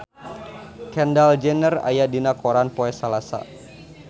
Kendall Jenner aya dina koran poe Salasa